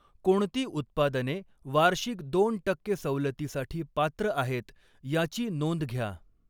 कोणती उत्पादने वार्षिक दोन टक्के सवलतीसाठी पात्र आहेत याची नोंद घ्या.